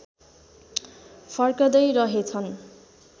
फर्कँदै रहेछन्